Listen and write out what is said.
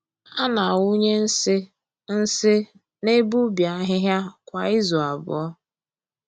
A na-awụnye nsị nsị n’ebe ubi ahịhịa kwa izu abụọ.